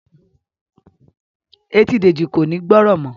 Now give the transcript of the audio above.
Ẹtì Deji kò ní o gbórò mọ